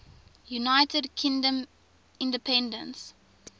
united kingdom independence